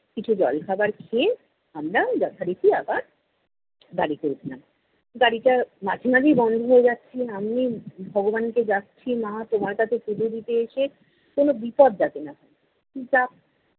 কিছু জল খাবার খেয়ে আমরা যথারীতি আবার গাড়িতে উঠলাম। গাড়িটা মাঝে মাঝেই বন্ধ হয়ে যাচ্ছে। আমি ভগবানকে ডাকছি, মা তোমার কাছে পুজো দিতে এসে কোনো বিপদ যাতে না হয়।